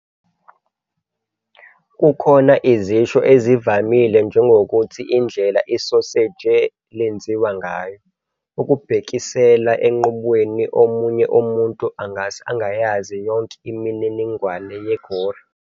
Kukhona izisho ezivamile njengokuthi "indlela isoseji lenziwa ngayo" ukubhekisela enqubweni omunye umuntu angase angayazi yonke imininingwane ye-gory.